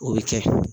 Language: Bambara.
O bɛ kɛ